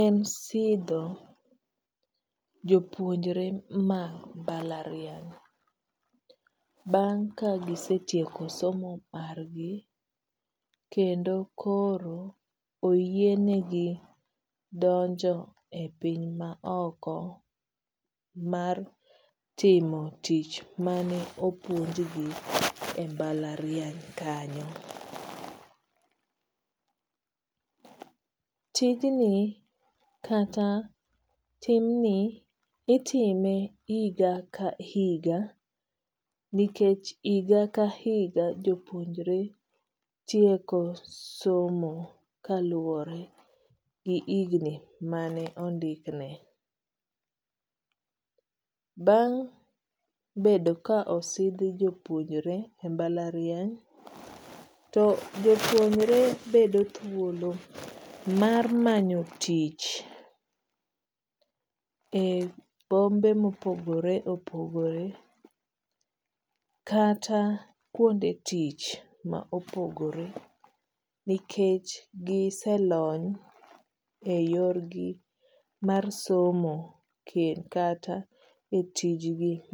en sidho jopuonjre ma mbalariany bang' ka gisetieko somo margi kendo koro oyienegi donjo e piny maoko mar timo tich mane opuonjgi e mbalariany kanyo. Tijni kata timni itime higa ka higa nikech higa ka higa jopuonjre tieko somo kaluwore gi higni mane ondikne. Bang' bedo ka osidh jopuonjre e mbalariany to jopuonjre bedo thuolo mar manyo tich e bombe ma opogore opogore kata kuonde tich ma opogore nikech giselony eyorgi mar somo kata etijni mar